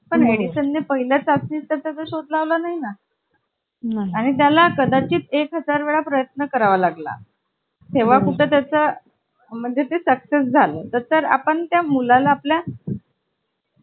त्याची सध्याची स्थिती पाहता मला असे वाटते की अठरा हजार रुपये किंमत योग्य वाटते अधिक माहिती अशी की आठ जणांची आसनक्षमता आहे